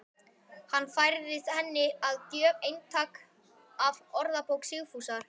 Hann færði henni að gjöf eintak af Orðabók Sigfúsar